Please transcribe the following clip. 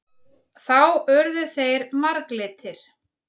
Þá urðu þeir marglitir.